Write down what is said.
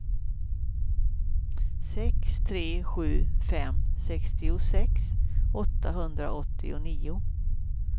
sex tre sju fem sextiosex åttahundraåttionio